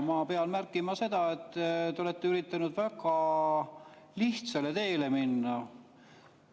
Ma pean märkima seda, et te olete üritanud väga lihtsale teele minna.